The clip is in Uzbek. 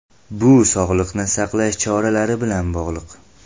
Bu sog‘liqni saqlash choralari bilan bog‘liq.